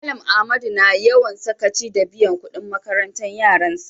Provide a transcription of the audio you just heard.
Mallam Ahmadu na yawan sakaci da biyan kudin makarantan yaran sa.